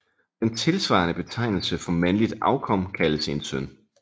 Den tilsvarende betegnelse for mandligt afkom kaldes en søn